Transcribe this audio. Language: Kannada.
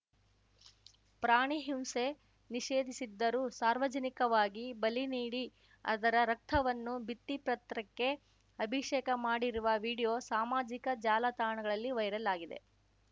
ಪ್ರಾಣಿ ಹಿಂಸೆ ನಿಷೇಧಿಸಿದ್ದರೂ ಸಾರ್ವಜನಿಕವಾಗಿ ಬಲಿ ನೀಡಿ ಅದರ ರಕ್ತವನ್ನು ಭಿತ್ತಿಪತ್ರಕ್ಕೆ ಅಭಿಷೇಕ ಮಾಡಿರುವ ವಿಡಿಯೋ ಸಾಮಾಜಿಕ ಜಾಲತಾಣಗಳಲ್ಲಿ ವೈರಲ್‌ ಆಗಿದೆ